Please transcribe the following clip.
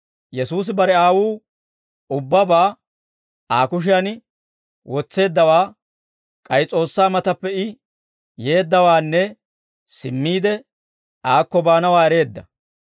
Yesuusi bare Aawuu ubbabaa Aa kushiyan wotseeddawaa, k'ay S'oossaa matappe I yeeddawaanne, simmiide aakko baanawaa ereedda.